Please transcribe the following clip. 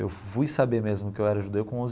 Eu fui saber mesmo que eu era judeu com onze.